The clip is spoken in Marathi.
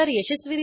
मेथडवर जाऊ